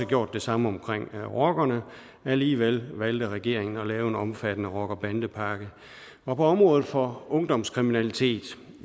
gjort det samme omkring rockerne alligevel valgte regeringen at lave en omfattende rocker bande pakke på området for ungdomskriminalitet